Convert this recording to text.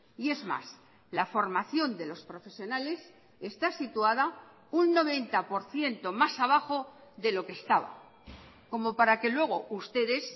y es más la formación de los profesionales está situada un noventa por ciento más abajo de lo que estaba como para que luego ustedes